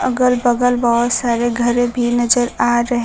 अगल बगल बहुत सारे घरे भी नजर आ रहे--